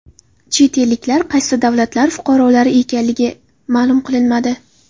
Chet elliklar qaysi davlatlar fuqarolari ekanligi ma’lum qilinmadi.